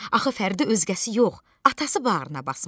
Axı Fəridi özgəsi yox, atası bağrına basmışdı.